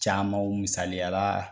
Caman o misaliya la